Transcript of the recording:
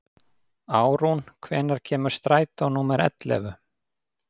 Árún, hvenær kemur strætó númer ellefu?